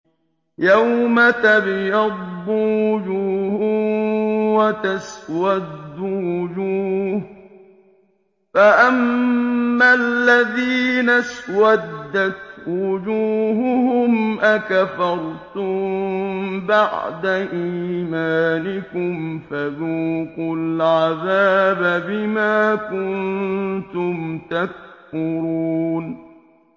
يَوْمَ تَبْيَضُّ وُجُوهٌ وَتَسْوَدُّ وُجُوهٌ ۚ فَأَمَّا الَّذِينَ اسْوَدَّتْ وُجُوهُهُمْ أَكَفَرْتُم بَعْدَ إِيمَانِكُمْ فَذُوقُوا الْعَذَابَ بِمَا كُنتُمْ تَكْفُرُونَ